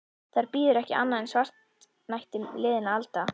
Þar bíður ekki annað en svartnætti liðinna alda.